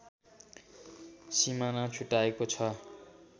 सिमाना छुट्याएको छ